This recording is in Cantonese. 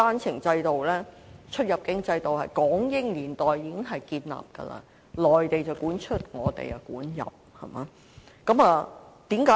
這種出入境制度在港英年代已經建立，內地管出，香港管入。